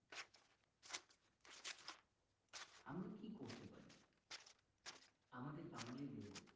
আমরা কি করতে পারি আমাদের বাঙ্গালীদের